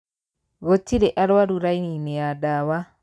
Gūtirī arwaru raini- īnī ya ndawa.